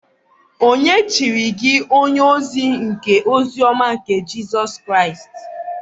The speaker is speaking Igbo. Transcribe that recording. Ònye chiri gi onye-ozi nke ozi-ọma nke Jisus Kraist?